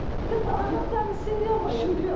тіпті қазақстанның ішінде ғой ішінде